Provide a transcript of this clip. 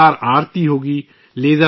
ایک عظیم الشان آرتی ہو گی